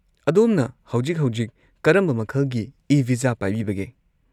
ꯑꯗꯣꯝꯅ ꯍꯧꯖꯤꯛ-ꯍꯧꯖꯤꯛ ꯀꯔꯝꯕ ꯃꯈꯜꯒꯤ ꯏ-ꯚꯤꯖꯥ ꯄꯥꯏꯕꯤꯕꯒꯦ?